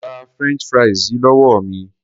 Gba french fries yìí lówó mi.